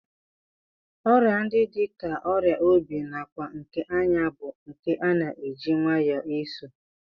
Ọrịa ndị dị ka ọrịa obi nakwa nke anya bụ nke a na-eji nwayọọ eso